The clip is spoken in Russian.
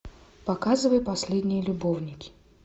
показывай последние любовники